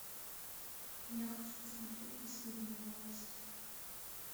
я хочу посмотреть последние новости